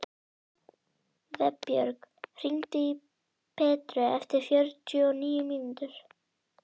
Vébjörg, hringdu í Petru eftir fjörutíu og níu mínútur.